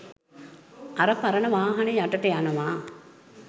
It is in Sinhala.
අර පරණ වාහන යටට යනවා